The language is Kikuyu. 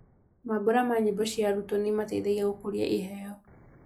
Mambura ma nyĩmbo cia arutwo nĩimateithagia gũkũria iheo